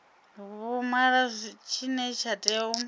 vhumalo tshine tsha tea u